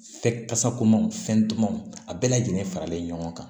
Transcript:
Fɛ kasa komanw fɛn dumanw a bɛɛ lajɛlen faralen ɲɔgɔn kan